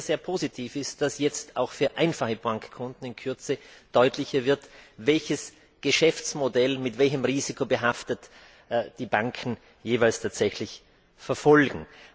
sehr positiv ist, dass jetzt auch für einfache Bankkunden in Kürze deutlicher wird, welches Geschäftsmodell mit welchem Risiko behaftet die Banken jeweils tatsächlich verfolgen.